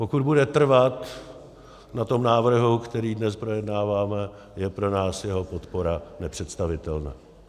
Pokud bude trvat na tom návrhu, který dnes projednáváme, je pro nás jeho podpora nepředstavitelná.